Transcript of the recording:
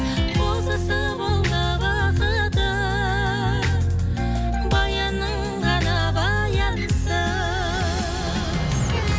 қозысы болды бақыты баянның ғана баянсыз